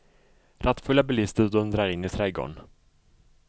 Rattfulla bilister dundrar in i trädgården.